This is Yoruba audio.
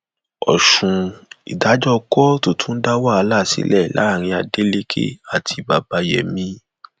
ọṣùn ìdájọ kóòtù tún dá wàhálà sílẹ láàrin adeleke àti babayémi